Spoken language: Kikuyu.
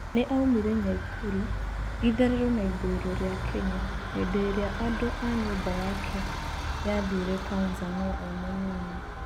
Nĩ aumire Nyaikuru, itherero na ithũiro rĩa Kenya hĩndĩ ĩrĩa andũa nyũmba yake yathire Tanzania emũnini.